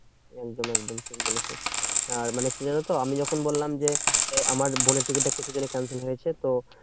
একদম একদম ঠিক বলেছো। আর মানে কি জানতো? আমি যখন বললাম যে, আমার বোনের টিকিটটা কিসের জন্য cancel হয়েছে? তো